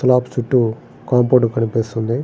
Flat చుట్టూ compound కనిపిస్తుంది.